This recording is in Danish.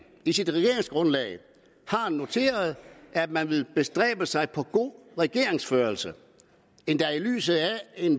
i sit regeringsgrundlag har noteret at man vil bestræbe sig på god regeringsførelse endda i lyset af